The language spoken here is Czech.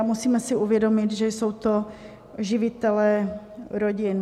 A musíme si uvědomit, že jsou to živitelé rodin.